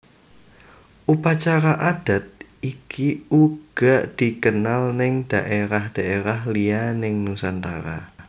Upacara adat iki uga dikenal neng dhaerah dhaerah liya neng Nusantara